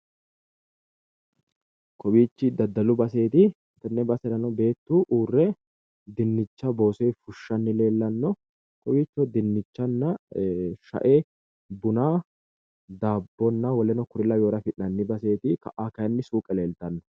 Kowiichi daddalu baseeti. Tenne baserano beetu uurre dinnicha gafe boosoyi fushshanni leellanno. Kowiicho dinnichanna shae buna daabbonna w.k.l lawinore afi'nanni baseeti. Ka'a kayinni suuqe leeltanno.